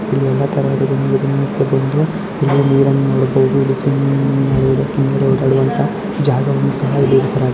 ಇಲ್ಲಿ ಎಲ್ಲ ತರಹದ ಒಂದು ನೀರನ್ನು ನೋಡಬಹುದು ಇಲ್ಲಿ ಸ್ವಿಮ್ಮಿಂಗ್ ಮಾಡುವಂತ ಜಾಗವನ್ನು ಸಹ ಇಲ್ಲಿ ಇರಿಸಲಗಿದೆ.